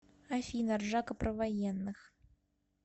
афина ржака про военных